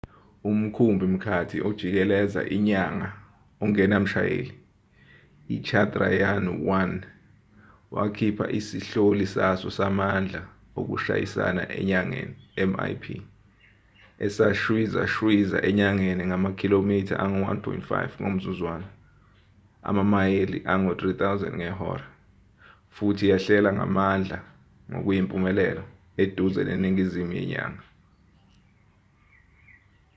umkhumbi-mkhathi ojikeleza inyanga ongenamshayeli ichandrayaan-1 wakhipha isihloli saso samandla okushayisana enyangeni mip esashwizashwiza enyangeni ngamakhilomitha angu-1.5 ngomzuzwana amamayeli angu-3000 ngehora futhi yehlela ngamandla ngokuyimpumelelo eduze neningizimu yenyanga